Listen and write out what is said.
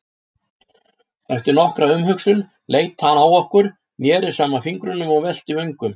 Eftir nokkra umhugsun leit hann á okkur, neri saman fingrunum og velti vöngum.